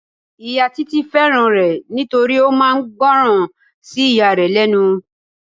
Ìyá Títí fẹ́ràn rẹ nítorí ó máa ń gboran sí ìyá rẹ lẹ́nu.